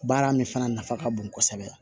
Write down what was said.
Baara min fana nafa ka bon kosɛbɛ